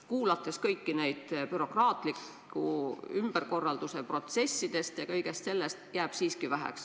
Kuulates juttu kõigist nendest bürokraatliku ümberkorralduse protsessidest jääb mulje, et sellest jääb siiski väheks.